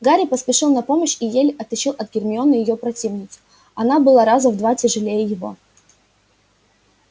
гарри поспешил на помощь и еле оттащил от гермионы её противницу она была раза в два тяжелее его